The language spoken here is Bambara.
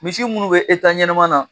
Misi minnu bɛ ɲɛnama na.